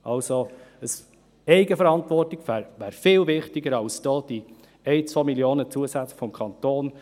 Die Eigenverantwortung ist viel wichtiger als 1 Mio. oder 2 Mio. Franken vom Kanton.